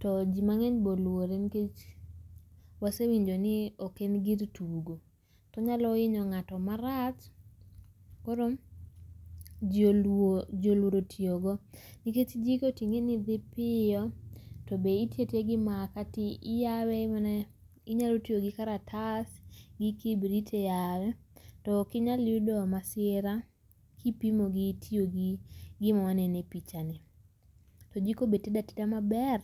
To ji mang'eny be oluore nikech wase winjo ni ok en gir tugo. To onyalo hinyo ng'ato marach. Koro ji oluoro oluoro tiyogo. Nikech jiko ting'e ni dhi piyo tobe itiyo atiya gi makaa to iyawee inyalo tiyo gi kartas gi kibrit e yawe to ok inyal yudo masira kipimo gi tiyo gi gima waneno e pichani. To jiko be tedo ateda maber.